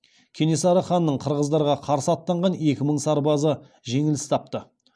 кенесары ханның қырғыздарға қарсы аттанған екі мың сарбазы жеңіліс тапты